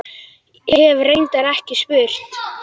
Hef reyndar ekki spurt.